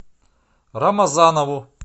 рамазанову